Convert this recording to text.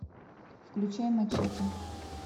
включай мачете